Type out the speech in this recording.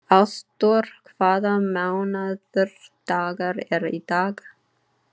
Ásdór, hvaða mánaðardagur er í dag?